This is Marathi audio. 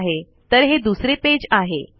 ठीक आहे तर हे दुसरे पेज आहे